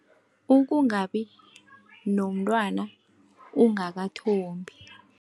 Ukungabi nomntwana ungakathombi.